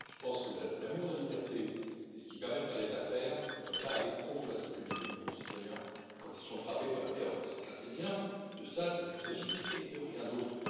Je pense que l'amour de la liberté et ce qui permet de faire des affaires ne doit pas aller contre la sécurité de nos concitoyens quand ils sont frappés par le terrorisme, car c'est bien de cela qu'il s'agit et de rien d'autre.